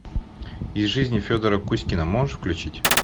из жизни федора кузькина можешь включить